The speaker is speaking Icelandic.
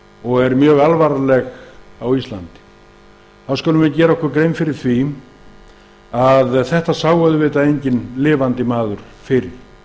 og er mjög alvarleg á íslandi skulum við gera okkur grein fyrir að enginn lifandi maður sá hana fyrir